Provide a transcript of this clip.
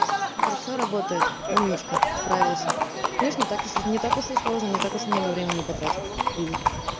всё работает умничка справился видишь не так уж не так уж и сложно не так уж и много времени потратил